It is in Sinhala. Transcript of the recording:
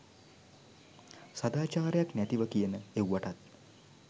සදාචාරයක් නැතිව කියන එව්වටත්